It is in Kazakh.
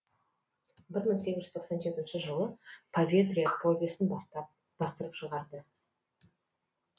бір мың сегіз жүз тоқсан жетінші жылы поветрие повесін бастырып шығарады